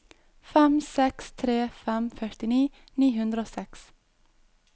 fem seks tre fem førtini ni hundre og seks